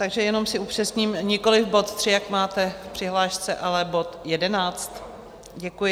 Takže jenom si upřesním, nikoliv bod 3, jak máte v přihlášce, ale bod 11. Děkuji.